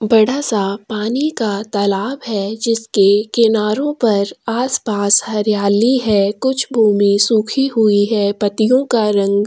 बड़ा सा पानी का तलाब है जिसके किनारो पर आसपास हरियाली है कुछ भूमी सुखी हुई है पत्तियों का रंग--